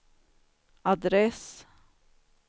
adress